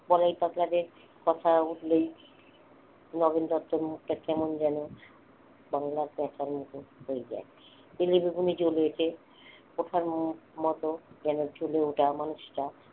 বলাই পাগলাদের কথা উঠলেই নগেন দত্তের মুখটা কেমন যেন বাংলার প্যাঁচার মতো হয়ে যায় । তেলে বেগুনে জ্বলে ওঠে কথার মতন যেন চলে ওঠা মানুষটা